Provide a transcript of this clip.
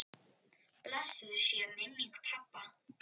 Blessuð sé minning pabba.